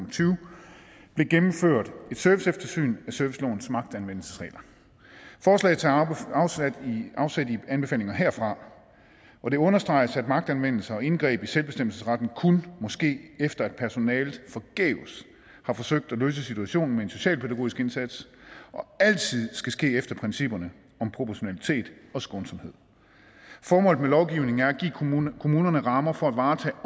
og tyve blev gennemført et serviceeftersyn af servicelovens magtanvendelsesregler forslaget tager afsæt i anbefalinger herfra og det understreges at magtanvendelse og indgreb i selvbestemmelsesretten kun må ske efter at personalet forgæves har forsøgt at løse situationen med en socialpædagogisk indsats og altid skal ske efter principperne om proportionalitet og skånsomhed formålet med lovgivningen er at give kommunerne rammer for at varetage